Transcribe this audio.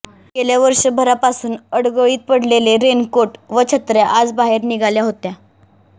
गेल्या वर्षभरापासून अडगळीत पडलेले रेनकोट व छत्र्या आज बाहेर निघाल्या होत्या